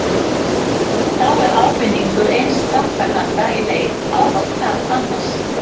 Þá er ávinningur eins þátttakanda í leik ávallt tap annars.